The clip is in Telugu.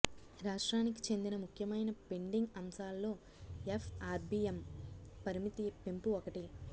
రాష్ట్రానికి చెందిన ముఖ్యమైన పెండింగ్ అంశాల్లో ఎఫ్ఆర్బిఎం పరిమితి పెంపు ఒకటి